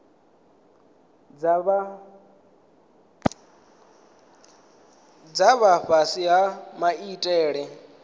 dza vha fhasi ha maitele